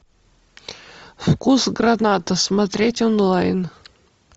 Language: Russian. вкус граната смотреть онлайн